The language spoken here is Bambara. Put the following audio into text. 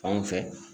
Fan fɛ